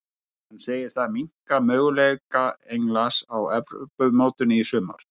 Hann segir það minnka möguleika Englands á Evrópumótinu í sumar.